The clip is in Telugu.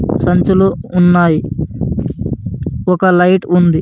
సంచులు ఉన్నాయ్ ఒక లైట్ ఉంది.